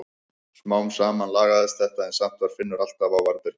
Smám saman lagaðist þetta en samt var Finnur alltaf á varðbergi.